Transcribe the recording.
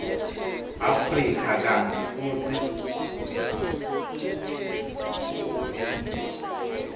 afrika kantsi futsi